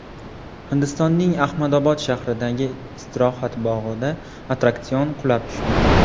Hindistonning Ahmadobod shahridagi istirohat bog‘ida attraksion qulab tushdi.